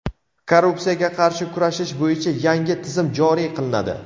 korrupsiyaga qarshi kurashish bo‘yicha yangi tizim joriy qilinadi.